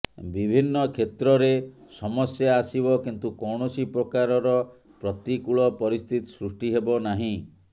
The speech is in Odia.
ବିଭିନ୍ନ କ୍ଷେତ୍ରରେ ସମସ୍ୟା ଆସିବ କିନ୍ତୁ କୌଣସି ପ୍ରକାରର ପ୍ରତିକୂଳ ପରିସ୍ଥିତି ସୃଷ୍ଟି ହେବ ନାହିଁ